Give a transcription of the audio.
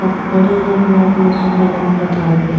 खड़े हैं अपने अपने सूपा लेके कपार पे।